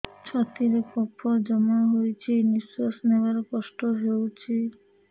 ଛାତିରେ କଫ ଜମା ହୋଇଛି ନିଶ୍ୱାସ ନେବାରେ କଷ୍ଟ ହେଉଛି